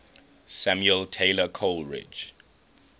samuel taylor coleridge